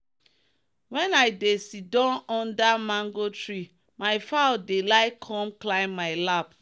when i dey siddon under mango tree my fowl dey like come climb my lap.